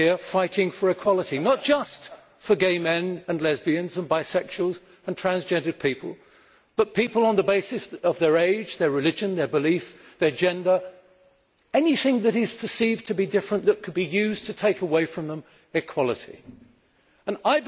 fighting for equality, not just for gay men and lesbians and bisexuals and transgender people, but for people on the basis of their age, their religion, their belief, their gender, anything that is perceived to be different that could be used to take equality away from them.